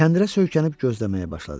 Kəndirə söykənib gözləməyə başladı.